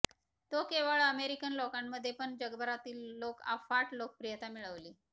तो केवळ अमेरिकन लोकांमध्ये पण जगभरातील लोक अफाट लोकप्रियता मिळवली